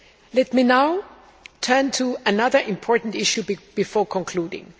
Let me now turn to another important issue before concluding.